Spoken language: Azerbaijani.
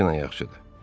Delfina yaxşıdır.